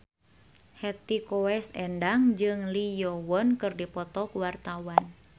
Hetty Koes Endang jeung Lee Yo Won keur dipoto ku wartawan